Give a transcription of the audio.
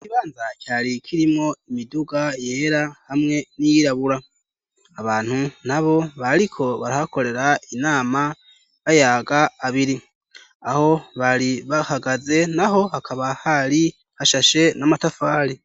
Ikibanza cari kirimo imiduga yera hamwe n'iyirabura . Abantu n'abo bariko barahakorera inama, bayaga abiri. Aho bari bahagaze n'aho hakaba hari hashashe n'amatafari.